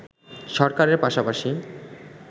সরকারের পাশাপাশি